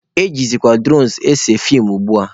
Ejizikwa duronu ese feem ugbua.